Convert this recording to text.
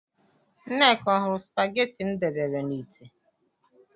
Nneka ọ hụrụ spagetị m debere na ite?